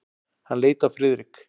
Hann leit á Friðrik.